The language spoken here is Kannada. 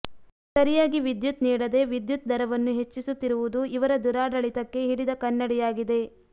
ಸರಿಯಾಗಿ ವಿದ್ಯುತ್ ನೀಡದೆ ವಿದ್ಯುತ್ ದರವನ್ನು ಹೆಚ್ಚಿಸುತ್ತಿರುವುದು ಇವರ ದುರಾಡಳಿತಕ್ಕೆ ಹಿಡಿದ ಕನ್ನಡಿಯಾಗಿದೆ